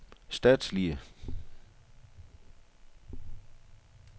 statslige